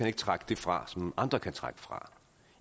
ikke trække det fra som andre kan trække fra